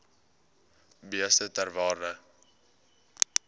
beeste ter waarde